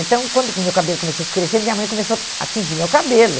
Então, quando que meu cabelo começou a escurecer, minha mãe começou a tingir meu cabelo.